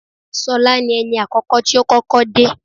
Ṣọlá ni ẹni àkọ́kọ́ tí ó kọ́kọ́ dé